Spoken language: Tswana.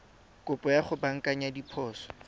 kopo ya go baakanya diphoso